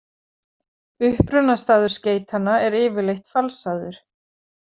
Upprunastaður skeytanna er yfirleitt falsaður.